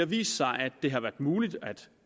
vist sig at det har været muligt at